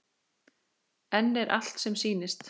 En er allt sem sýnist?